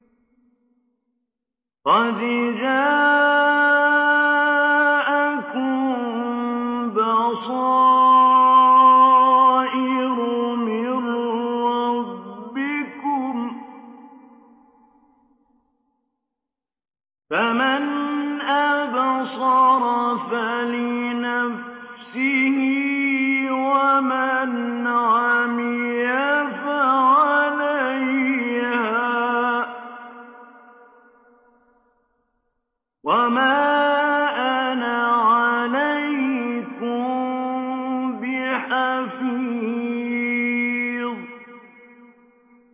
قَدْ جَاءَكُم بَصَائِرُ مِن رَّبِّكُمْ ۖ فَمَنْ أَبْصَرَ فَلِنَفْسِهِ ۖ وَمَنْ عَمِيَ فَعَلَيْهَا ۚ وَمَا أَنَا عَلَيْكُم بِحَفِيظٍ